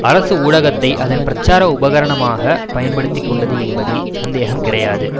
அரசு ஊடகத்தை அதன் பிரச்சார உபகரணமாக பயன்படுத்திக்கொண்டது என்பதில் சந்தேகம் கிடையாது